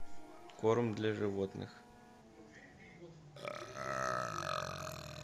корм для животных